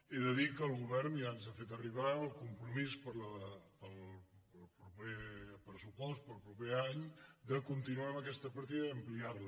he de dir que el govern ja ens ha fet arribar el com·promís per al proper pressupost per al proper any de continuar amb aquesta partida i ampliar·la